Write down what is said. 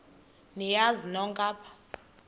niyazi nonk apha